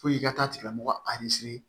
Fo i ka taa tigilamɔgɔ